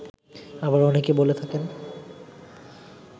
আবার অনেকেই বলে থাকেন